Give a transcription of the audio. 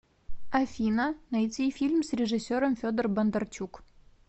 афина найти фильм с режисером федор бондарчук